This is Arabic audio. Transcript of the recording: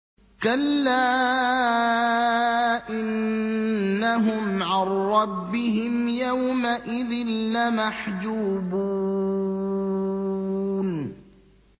كَلَّا إِنَّهُمْ عَن رَّبِّهِمْ يَوْمَئِذٍ لَّمَحْجُوبُونَ